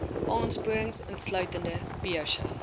aansporings insluitende beurse